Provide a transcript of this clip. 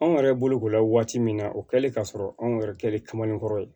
Anw yɛrɛ bolokola waati min na o kɛlen k'a sɔrɔ anw yɛrɛ kɛlen kamanenkɔrɔ ye